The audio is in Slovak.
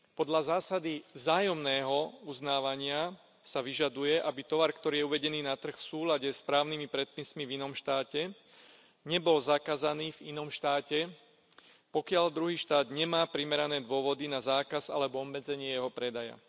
Podľa zásady vzájomného uznávania sa vyžaduje, aby tovar, ktorý je uvedený na trh v súlade s právnymi predpismi v inom štáte, nebol zakázaný v inom štáte, pokiaľ druhý štát nemá primerané dôvody na zákaz alebo obmedzenie jeho predaja.